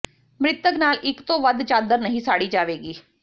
ਮ੍ਰਿਤਕ ਨਾਲ ਇਕ ਤੋਂ ਵਧ ਚਾਦਰ ਨਹੀਂ ਸਾੜੀ ਜਾਵੇਗੀ